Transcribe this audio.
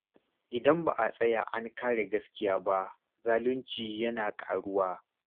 Idan ba a tsaya an kare gaskiya ba, zalunci yana ƙaruwa.